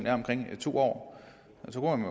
er omkring to år